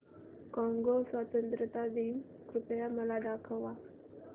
Congo स्वतंत्रता दिन कृपया मला दाखवा